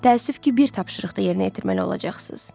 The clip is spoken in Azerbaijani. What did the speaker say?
Təəssüf ki, bir tapşırıq da yerinə yetirməli olacaqsınız.